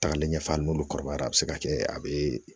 Tagalen ɲɛfɛ hali n'olu kɔrɔbayara a bɛ se ka kɛ a bɛ